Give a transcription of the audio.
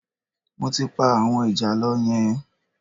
Mo ti pa àwọn ìjàlọ yẹn